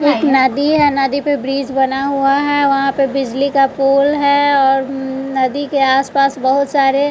एक नदी है नदी पे ब्रिज बना हुआ है वहां पे बिजली का पुल है और नदी के आस पास बहोत सारे--